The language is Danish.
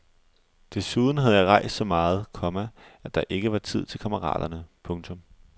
Desuden havde jeg rejst så meget, komma at der ikke var tid til kammeraterne. punktum